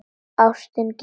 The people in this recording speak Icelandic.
Ástin gefur.